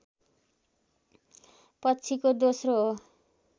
पछिको दोस्रो हो